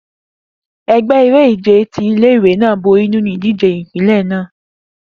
Egbe ere-ije ti ile-iwe naa bori ninu idije ipinlẹ naa